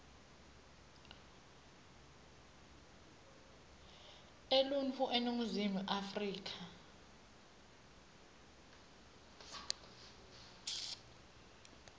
eluntfu eningizimu afrika